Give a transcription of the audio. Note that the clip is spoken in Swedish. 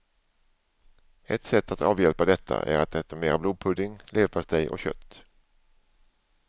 Ett sätt att avhjälpa detta är att äta mera blodpudding, leverpastej och kött.